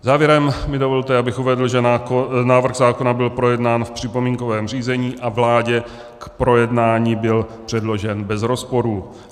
Závěrem mi dovolte, abych uvedl, že návrh zákona byl projednán v připomínkovém řízení a vládě k projednání byl předložen bez rozporů.